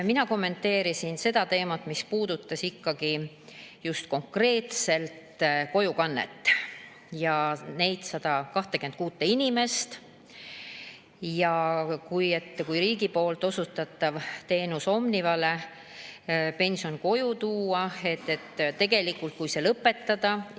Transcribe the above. Mina kommenteerisin seda teemat, mis puudutas ikkagi just konkreetselt kojukannet ja neid 126 inimest ning seda, kui riigi osutatav teenus, et Omniva pensioni koju toob, lõpetada.